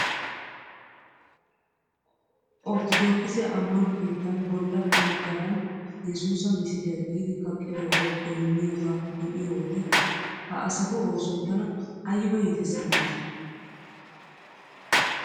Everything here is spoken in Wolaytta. Orttodookise ammano keetan bolla woggaran yesuusa misiliyaa giidi kaqqidoogaw gonniyoogaa be'iyoo wode he asatu oosoy tana ayba iites giidetii .